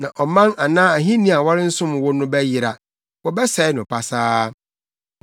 Na ɔman anaa ahenni a wɔrensom wo no bɛyera, wɔbɛsɛe no pasaa.